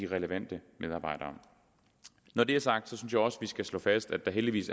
relevante medarbejdere når det er sagt synes jeg også vi skal slå fast at der heldigvis